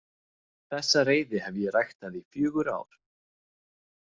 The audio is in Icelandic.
Þessa reiði hef ég ræktað í fjögur ár.